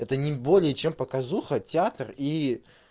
это не более чем показуха театр и